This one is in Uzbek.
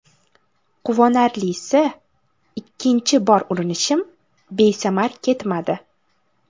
Quvonarlisi, ikkinchi bor urinishim besamar ketmadi.